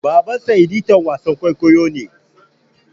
Babansa editan wasan kwaikwayo ne.